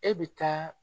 E bɛ taa